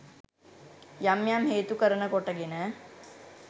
යම් යම් හේතු කරන කොටගෙන